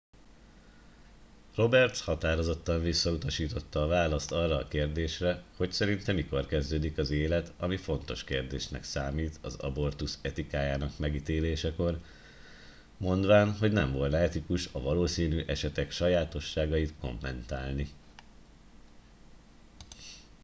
roberts határozottan visszautasította a választ arra a kérdésre hogy szerinte mikor kezdődik az élet ami fontos kérdésnek számít az abortusz etikájának megítélésekor mondván hogy nem volna etikus a valószínű esetek sajátosságait kommentálni